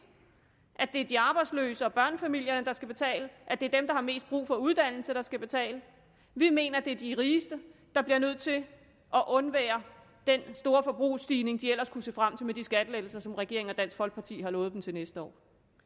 at det er de arbejdsløse og børnefamilierne der skal betale at det er dem der har mest brug for uddannelse der skal betale vi mener det er de rigeste der bliver nødt til at undvære den store forbrugsstigning de ellers kunne se frem til med de skattelettelser som regeringen og dansk folkeparti har lovet dem til næste år